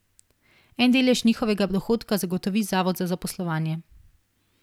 En delež njihovega dohodka zagotovi zavod za zaposlovanje.